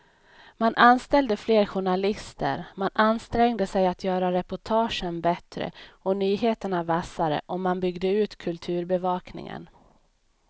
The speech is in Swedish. Man anställde fler journalister, man ansträngde sig att göra reportagen bättre och nyheterna vassare och man byggde ut kulturbevakningen.